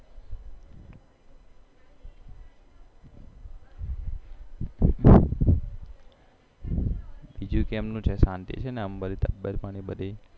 બીજું કેમનું છે શાંતિ છે ને તબિયતપાણી બધી